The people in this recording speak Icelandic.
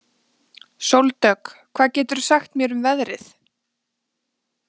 Sóldögg, hvað geturðu sagt mér um veðrið?